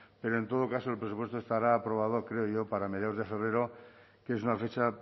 pero en todo caso el presupuesto estará aprobado creo yo para mediados de febrero que es una fecha